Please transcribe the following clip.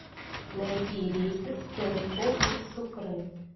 найди рейсы в сент пол из сукре